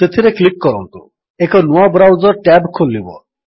ସେଥିରେ କ୍ଲିକ୍ କରନ୍ତୁ ଏକ ନୂଆ ବ୍ରାଉଜର୍ ଟ୍ୟାବ୍ ଖୋଲିବ